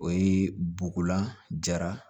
O ye bugulan jara